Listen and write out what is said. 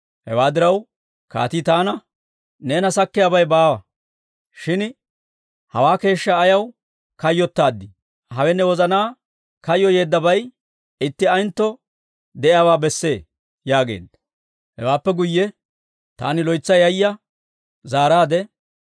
Hewaa diraw, kaatii taana, «Neena sakkiyaabay baawa; shin hawaa keeshshaa ayaw kayyottaadii? Hawe ne wozanaa kayyoyyeeddabay itti ayentto de'iyaawaa besse» yaageedda. Hewaappe guyye taani loytsa yayya zaaraadde,